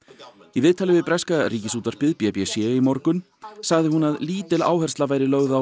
í viðtali við breska Ríkisútvarpið b b c í morgun sagði hún að lítil áhersla væri lögð á